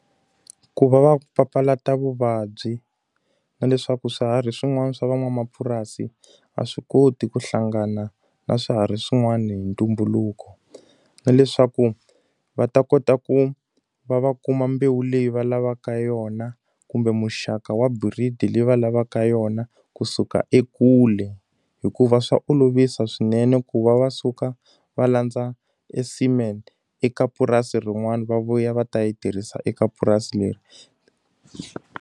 Ku va va papalata vuvabyi na leswaku swiharhi swin'wana swa van'wamapurasi a swi koti ku hlangana na swiharhi swin'wana hi ntumbuluko. Na leswaku va ta kota ku va va kuma mbewu leyi va lavaka yona, kumbe muxaka wa breed-i leyi va lavaka yona kusuka ekule. Hikuva swa olovisa swinene ku va va suka va landza e semen eka purasi rin'wana va vuya va ta yi tirhisa eka purasi leri.